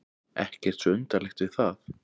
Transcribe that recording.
Ekkert svo undarlegt við það.